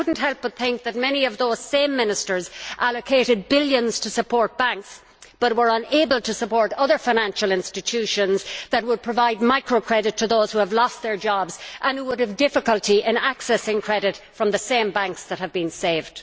I could not help but think that many of those same ministers allocated billions to support banks, but were unable to support other financial institutions that would provide micro credit to those who have lost their jobs and who would have difficulty in accessing credit from the same banks that have been saved.